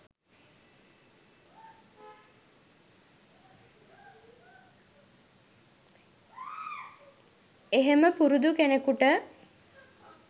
එහෙම පුරුදු කෙනෙකුට